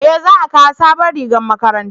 eh za a kawo sabon rigar makaranta